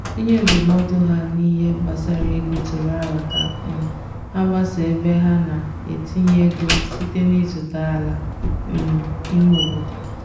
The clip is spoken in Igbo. onye ndụmọdụ ha n'ihe gbasara ego tụrụ aro ka um ha gbasaa ebe ha na-etinye ego site n'ịzụta ala um ime obodo.